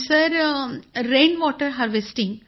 sir rain water harvesting